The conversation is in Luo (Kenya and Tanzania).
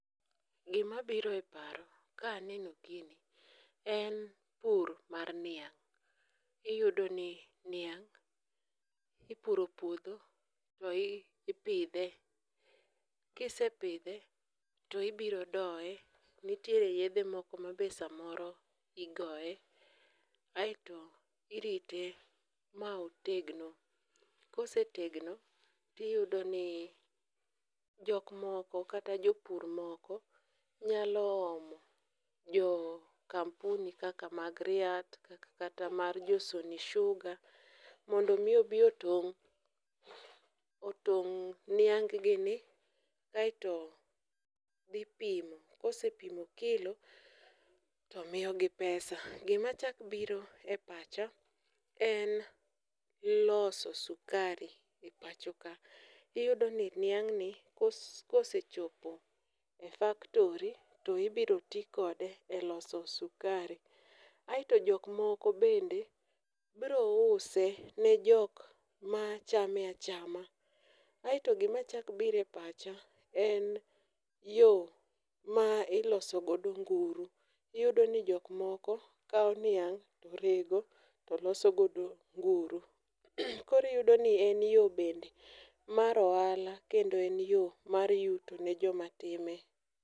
Gimabiro e paro ka aneno gini en pur mar niang' iyudoni niang' ipuro puodho to ipidhe kisepidhe, to ibiro doye, nitiere yedhe moko ma be samoro igoye, aeto irite ma otegno, ka osetegno, tiyudo ni jok moko kata jopur moko nyalo omo, jo kampuni kaka mag Riat, kata mar jo Sony Sugar mondo omi obi otong' niang gi ni aeto dhi pimo, kosepimo kilo to miyogi pesa. Gimachako biro e pacha en loso sukari e pachoka. iyudo ni niangni kosechopo e factory to ibiro ti kode e loso sukari aeto jok moko bende biro use ne jok machame achama, aeto gimachako biro e pacha en yo ma iloso godo nguru, iyudo ni jok moko kawo niang' to rego to loso godo nguru. Koro iyudoni en yo bende mar ohala kendo en yo mar yuto ne jomatime.